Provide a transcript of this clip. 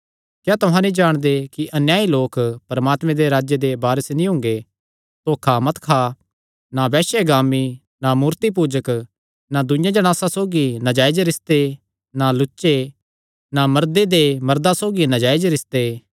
क्या तुहां नीं जाणदे कि अन्यायी लोक परमात्मे दे राज्जे दे वारस नीं हुंगे धोखा मत खा ना वैश्यगामी ना मूर्तिपूजक ना दूईआं जणासां सौगी नाजायज रिस्ते ना लुच्चे ना मर्दे दे मर्दां सौगी नाजायज रिस्ते